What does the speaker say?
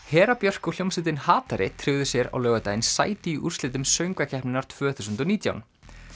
Hera Björk og hljómsveitin tryggðu sér á laugardaginn sæti í úrslitum söngvakeppninnar tvö þúsund og nítján